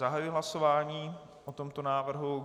Zahajuji hlasování o tomto návrhu.